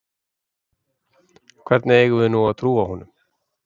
Hvernig eigum við nú að trúa honum?